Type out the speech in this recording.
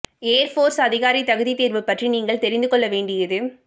ஏர் force அதிகாரி தகுதித் தேர்வு பற்றி நீங்கள் தெரிந்து கொள்ள வேண்டியது